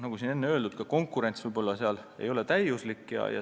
Nagu öeldud, see konkurents võib-olla ei ole täiuslik.